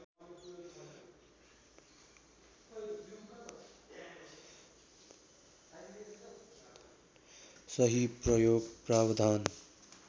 सही प्रयोग प्रावधान